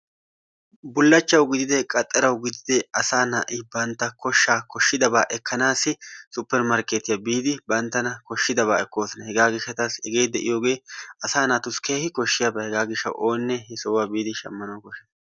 Bullachachawu gididee asa na'i bantta koshshaa koshshidabaa ekkanaassi suppermarkettiya biidi banttana koshshidabaa ekkoosona. Hegaa gishshaataassi hegee de'iyoogee asaa naatusi keehii koshshiyaabaa. Hegaa gishshawu oone sohuwaa biidi shamana koshshees.